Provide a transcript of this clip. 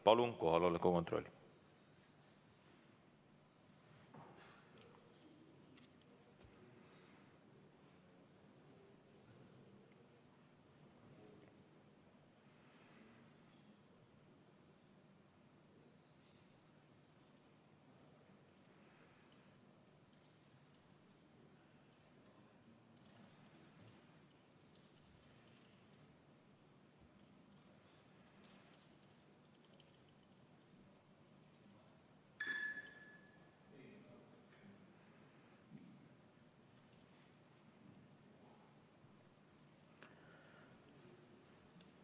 Palun kohaloleku kontroll!